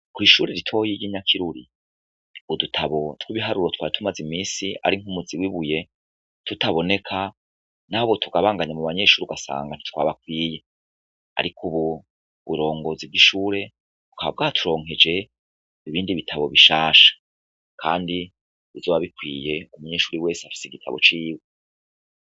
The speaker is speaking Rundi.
Kw ishure ritohirgye inyakiruri udutabo tw'ibiharuro twa tumaze imisi ari nk'umuzi wibuye tutaboneka nabo tugabanganya mu banyeshure ugasanga nitwabakwiye, ariko, ubu burongozi bw'ishure bukaba bwaturonkeje ibindi bitabo bishasha, kandi buzoba bikwiyekume curi wese afise igitabo ciwe.